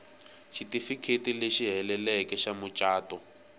xitifiketi lexi heleleke xa mucato